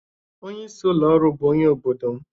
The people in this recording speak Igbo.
Onye isi ụlọ ọrụ bụ onye obodo m